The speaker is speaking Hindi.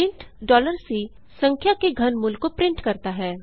प्रिंट C संख्या के घनमूल को प्रिंट करता है